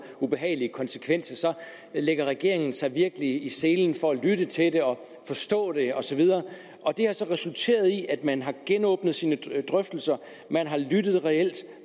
ubehagelige konsekvenser så lægger regeringen sig virkelig i selen for at lytte til det og forstå det og så videre det har så resulteret i at man har genåbnet sine drøftelser man har lyttet reelt